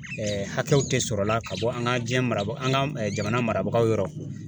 hakɛw tɛ sɔrɔla ka bɔ an ka jiyɛn mara an ka jamana marabagaw yɔrɔ.